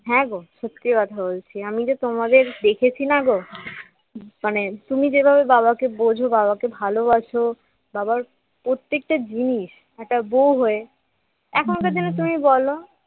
হ্যাঁগো সত্যি কথা বলছি আমি যে তোমাদের দেখেছি নাগো মানে তুমি যেভাবে বাবাকে বোঝো বাবাকে ভালোবাসো বাবার প্রত্যেকটা জিনিস একটা বউ হয়ে এখনকার দিনে তুমি বলো